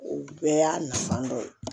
O bɛɛ y'a nafa dɔ ye